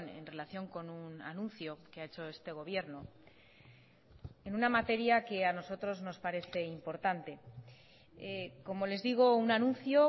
en relación con un anuncio que ha hecho este gobierno en una materia que a nosotros nos parece importante como les digo un anuncio